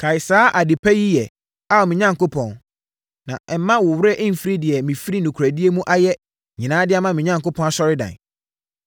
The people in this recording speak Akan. Kae saa ade pa yi yɛ, Ao me Onyankopɔn, na mma wo werɛ mfiri deɛ mefiri nokorɛdie mu ayɛ nyinaa de ama me Onyankopɔn Asɔredan.